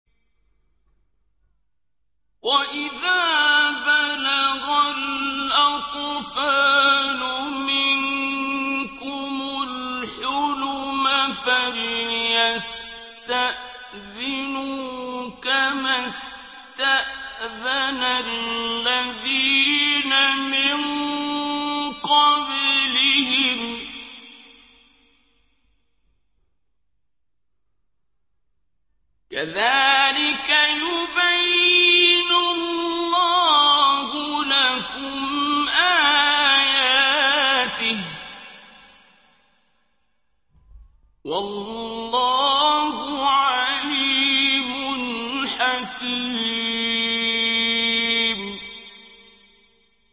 وَإِذَا بَلَغَ الْأَطْفَالُ مِنكُمُ الْحُلُمَ فَلْيَسْتَأْذِنُوا كَمَا اسْتَأْذَنَ الَّذِينَ مِن قَبْلِهِمْ ۚ كَذَٰلِكَ يُبَيِّنُ اللَّهُ لَكُمْ آيَاتِهِ ۗ وَاللَّهُ عَلِيمٌ حَكِيمٌ